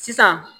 Sisan